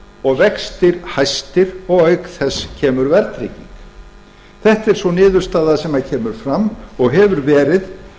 og vextir hæstir og auk þess kemur verðtrygging þetta er sú niðurstaða sem kemur fram og hefur verið